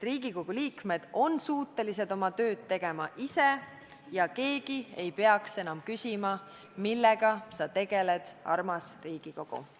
Riigikogu liikmed on suutelised oma tööd tegema ise ja keegi ei peaks enam küsima, millega sa tegeled, armas Riigikogu.